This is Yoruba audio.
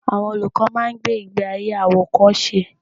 Àwọn olùkọ́ máa ń gbé ìgbé ayé àwòkọ́ṣe.